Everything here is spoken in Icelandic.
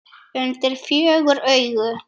Undir fjögur augu.